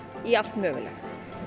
í allt mögulegt